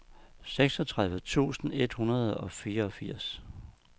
seksogtredive tusind et hundrede og fireogfirs